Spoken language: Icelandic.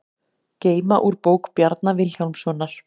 Geyma úr bók Bjarna Vilhjálmssonar